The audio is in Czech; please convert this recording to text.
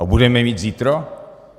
A budeme je mít zítra?